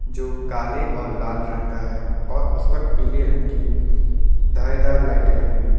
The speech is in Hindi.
जो काले और लाल रंग का है और उस पर पीले रंग की धारीदार लाइटें लगी हुई है।